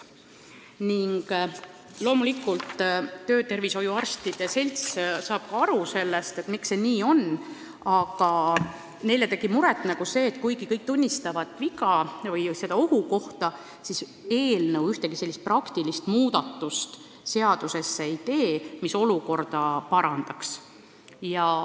Loomulikult saab töötervishoiuarstide selts aru, miks see nii on, aga neile tegi muret see, et kuigi kõik tunnistavad viga või seda ohukohta, siis eelnõu ei tee seadusesse ühtegi praktilist muudatust, mis olukorda parandaks.